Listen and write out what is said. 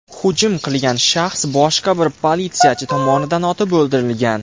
Hujum qilgan shaxs boshqa bir politsiyachi tomonidan otib o‘ldirilgan.